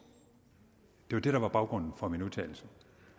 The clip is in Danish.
det var det der var baggrunden for min udtalelse